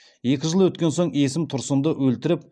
екі жыл өткен соң есім тұрсынды өлтіріп